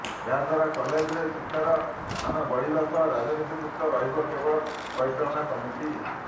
ଏହାଦ୍ୱାରା କଲେଜରେ ଶିକ୍ଷାର ମାନ ବଢିବା ସହ ରାଜନୀତି ମୁକ୍ତ ରହିବ କଲେଜ ପରିଚାଳନା କମିଟି